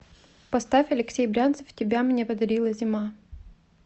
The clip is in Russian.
поставь алексей брянцев тебя мне подарила зима